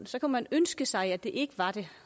så kunne man ønske sig at det ikke var det